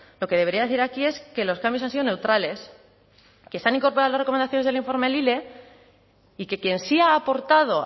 lo que debería decir aquí es que los cambios han sido neutrales que se han incorporado las recomendaciones del informe lile y que quien sí ha aportado